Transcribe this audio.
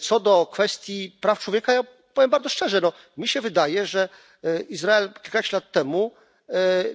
Co do kwestii praw człowieka, ja powiem bardzo szczerze wydaje mi się, że Izrael kilkanaście lat temu